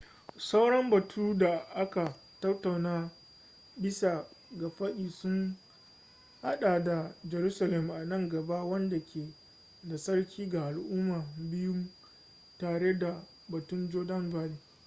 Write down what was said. sauran batu da aka tattauna bisa ga fadi sun hada da jerusalem a nan gaba wadda ke da tsarki ga al'umma biyun tare da batun jordan valley